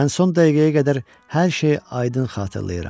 Mən son dəqiqəyə qədər hər şeyi aydın xatırlayıram.